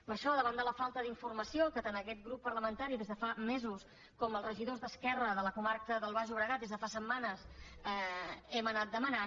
per això davant de la falta d’informació que tant aquest grup parlamentari des de fa mesos com els regidors d’esquerra de la comarca del baix llobregat des de fa setmanes hem anat demanant